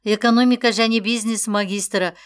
экономика және бизнес магистрі